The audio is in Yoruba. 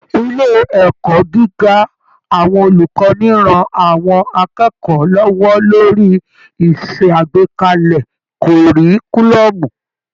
Ilé ẹ̀kọ́ gíga àwọn olùkọ́ni ran àwọn akẹ́kọ̀ọ́ lọ́wọ́ lórí ìṣàgbékalẹ̀ kọ̀ọ̀ríkúlọ́ọ̀mù